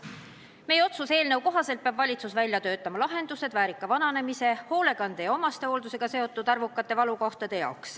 Meie otsuse eelnõu kohaselt peab valitsus välja töötama lahendused, et tagada väärikas vananemine ja leevendada hoolekande ja omastehooldusega seotud arvukaid valukohti.